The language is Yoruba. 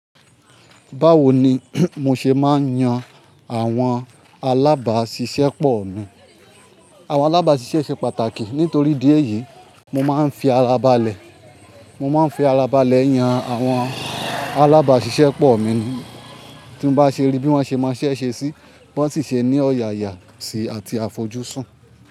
Báwo ni mo ṣe máa ń yan àwọn alábàáṣiṣẹ́ pọ̀ mí. Àwọn alábáṣisẹ́ ṣe pàtàkì nítorí idi èyí, mo máa ń fi ara balẹ̀. Mo máa ń fi ara balẹ̀ yan àwọn alábàṣiṣẹ́ pọ̀ mí ní. Tí n bá ṣe rí bí wọ́n ṣe ma iṣẹ̀ ṣe sí, bi wọ́n sì ṣe ní ọ̀yàyà ṣi àti àfojúsùn.